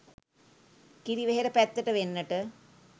කිරිවෙහෙර පැත්තට වෙන්නට